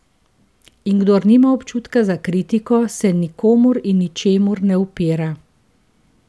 In kdor nima občutka za kritiko, se nikomur in ničemur ne upira.